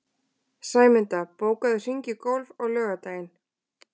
Sæmunda, bókaðu hring í golf á laugardaginn.